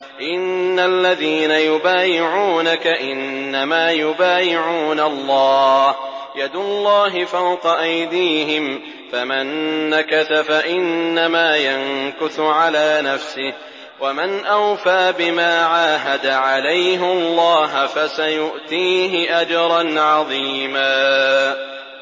إِنَّ الَّذِينَ يُبَايِعُونَكَ إِنَّمَا يُبَايِعُونَ اللَّهَ يَدُ اللَّهِ فَوْقَ أَيْدِيهِمْ ۚ فَمَن نَّكَثَ فَإِنَّمَا يَنكُثُ عَلَىٰ نَفْسِهِ ۖ وَمَنْ أَوْفَىٰ بِمَا عَاهَدَ عَلَيْهُ اللَّهَ فَسَيُؤْتِيهِ أَجْرًا عَظِيمًا